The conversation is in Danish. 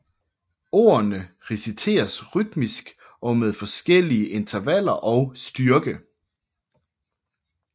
Ordene reciteres rytmisk og med forskellige intervaller og styrke